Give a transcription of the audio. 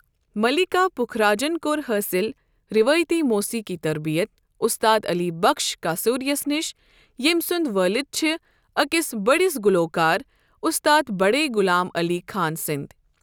مَلیٖکا پُکھراجن کۄٚر حٲصل روٲیتی موسیقی تربیت اُستاد علی بکھش کاسوریس نِش، یِیمۍ سُند وٲلد چھِ أکس بٔڈس گلوکار اُستاد بڑے غلام علی خان سٕنٛدی.